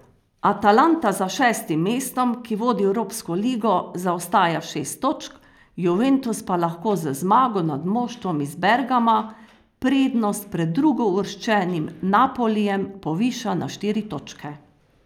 Atalanta za šestim mestom, ki vodi v evropsko ligo, zaostaja šest točk, Juventus pa lahko z zmago nad moštvom iz Bergama prednost pred drugouvrščenim Napolijem poviša na štiri točke.